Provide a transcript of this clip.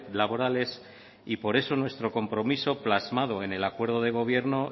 laborales y por eso nuestro compromiso plasmado en el acuerdo de gobierno